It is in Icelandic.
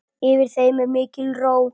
Yfir þeim er mikil ró.